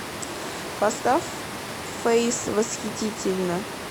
поставь фэйс восхитительно